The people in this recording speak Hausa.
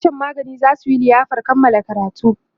sashen magani zasu Yi liyafar Kamala karatu